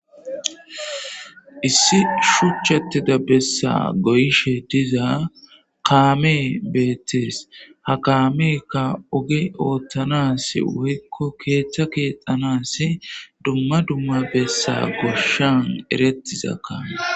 Issi shuchchatida besa goyishe diza kamey betes ha kameyka oge othana woyko ketha kexanasi dumma dumma gosha eretiza